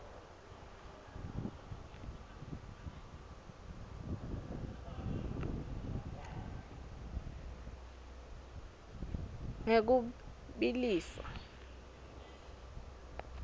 ngekubiliswa